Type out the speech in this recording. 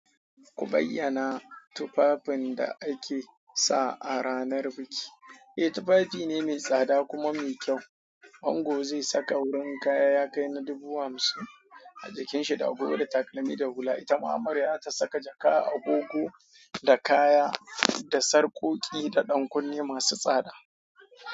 Ku bayyana tufafin da ake sa a ranar biki. Eh, tufafi ne mai tsada kuma mai kyau. Ango zai saka wurin kaya ya kai na dubu hamsin a jikinshi da agogo da takalmi da hula. Itama amarya zata saka jaka, agogo da kaya da sarƙoƙi da ɗankunne masu tsada.